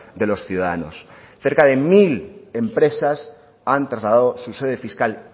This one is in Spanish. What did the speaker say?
de los ciudadanos cerca de mil empresas han trasladado su sede fiscal